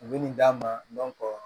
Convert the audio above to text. U bɛ nin d'a ma